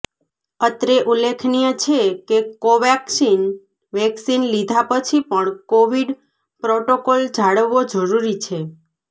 અત્રે ઉલ્લેખનીય છે કે કોવાક્સિન વેક્સીન લીધા પછી પણ કોવીડ પ્રોટોકોલ જાળવવો જરૂરી છે